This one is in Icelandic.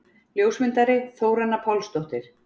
Ljósmyndari: Þóranna Pálsdóttir.